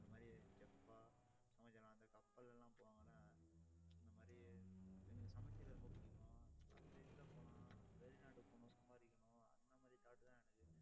இந்த மாதிரி chef ஆ சமைக்கலாம். இந்த கப்பல்லெல்லாம் போவாங்கல்லே இந்த மாதிரி எனக்கு சமைக்கிறது ரொம்ப பிடிக்கும் அந்த இதுல போலாம். வெளிநாட்டுக்கு போகணும் சம்பாதிக்கணும். அந்த மாதிரி thought தான் எனக்கு